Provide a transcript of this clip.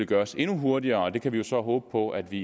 gøres endnu hurtigere vi kan så håbe på at vi